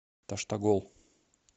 таштагол